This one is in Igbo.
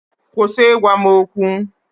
Kwụsị ịgwa m okwu!